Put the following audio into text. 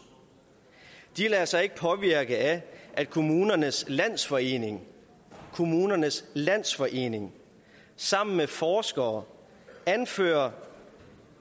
de lader sig ikke påvirke af at kommunernes landsforening kommunernes landsforening sammen med forskere anfører